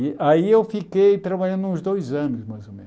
E aí eu fiquei trabalhando uns dois anos, mais ou menos.